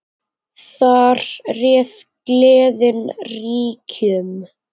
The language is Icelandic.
Þar réð gleðin ríkjum.